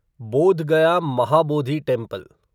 Bodh Gaya Mahabodhi temple